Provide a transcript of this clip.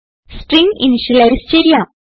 string initialize ചെയ്യാം